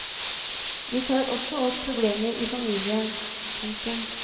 Vi tar også opp problemer i familien. punktum